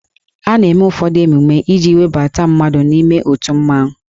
A na-eme ụfọdụ emume iji webata mmadụ n'ime otu mmanwụ